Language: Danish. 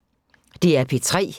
DR P3